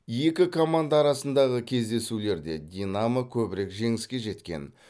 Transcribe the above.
екі команда арасындағы кездесулерде динамо көбірек жеңіске жеткен